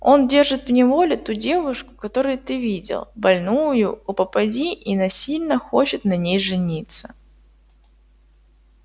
он держит в неволе ту девушку которую ты видел больную у попади и насильно хочет на ней жениться